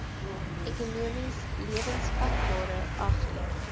ekonomies lewensvatbare agri